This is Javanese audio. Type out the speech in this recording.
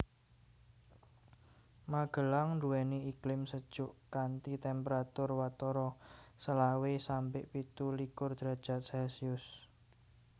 Magelang nduweni iklim sejuk kanthi temperatur watara selawe sampe pitu likur derajat celcius